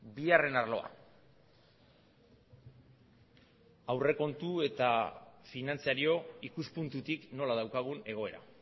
bigarren arloa aurrekontu eta finantzario ikuspuntutik nola daukagun egoera